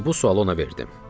və bu sualı ona verdim.